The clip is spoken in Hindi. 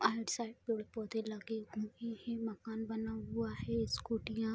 आउटसाइड पेड़-पौधे लगे हुए है मकान बना हुआ है स्कूटीयां --